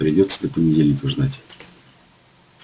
придётся до понедельника ждать